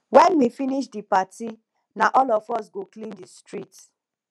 wen we finish di party na all of us go clean di street